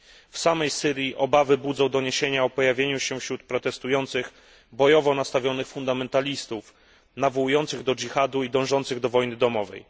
W samej Syrii obawy budzą doniesienia o pojawieniu się wśród protestujących bojowo nastawionych fundamentalistów, nawołujących do dżihadu i dążących do wojny domowej.